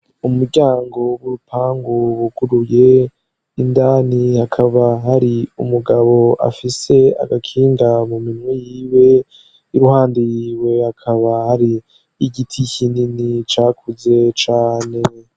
Umuryango w'urupangu buguruye, indani hakaba hari umugabo afise agakinga mu minwe yiwe, iruhande yiwe hakaba hari igiti kinini cakuze cane.